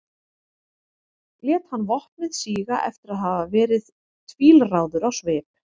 lét hann vopnið síga eftir að hafa verið tvílráður á svip